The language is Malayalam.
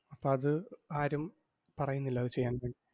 അപ്പം അത് ആരും പറയുന്നില്ല അത് ചെയ്യാൻ